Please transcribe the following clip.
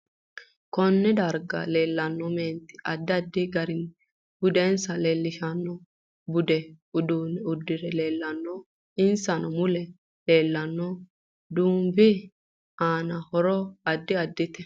Konne darga leelanno meenti addi addi garinni budensa leelishanno budu uduune uddire leelanno insa mule leelanno duubi aano horo addi addite